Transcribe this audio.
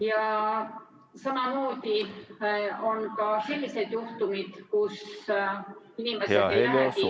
Ja samamoodi on ka selliseid juhtumeid, kus inimesed ei lähegi testi tegema.